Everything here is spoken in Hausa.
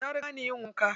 Ta riga ni yin wanka.